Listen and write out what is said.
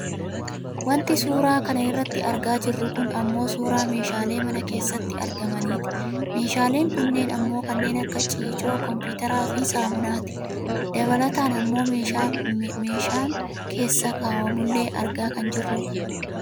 Wanti suuraa kana irratti argaa jirru kun ammoo suuraa meeshaalee mana keessatti argamaniiti. Meeshaaleen kunneen ammoo kanneen akka ciicoo, kompuuteraafi saamuunaati. Dabataan ammoo meeshaa meeshaan keessa kaawwamullee argaa kan jirrudha.